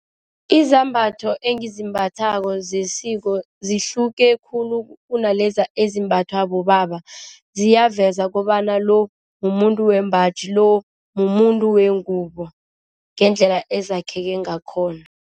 Izambatho engizimbathako zesiko zihluke khulu kunalezi ezimbathwa bobaba ziyaveza kobana lo mumuntu wembaji lo mumuntu wengubo ngendlela ezakheke ngakhona.